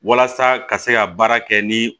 Walasa ka se ka baara kɛ ni